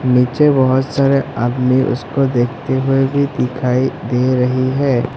नीचे बहुत सारे आदमी उसको देखते हुए भी दिखाई दे रही है।